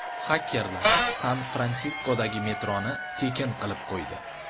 Xakerlar San-Fransiskodagi metroni tekin qilib qo‘ydi.